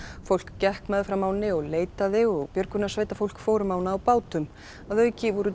fólk gekk meðfram ánni og leitaði og björgunarsveitarfólk fór um ána á bátum að auki voru